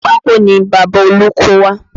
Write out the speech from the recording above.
Pákó ni Bàbá olú kó wá